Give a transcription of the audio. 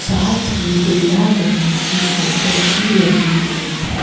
साथ ही दूल्हा दुल्हन की फोटो भी लगी हुई है।